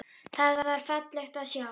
Það var fallegt að sjá.